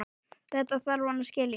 Þetta þarf hann að skilja.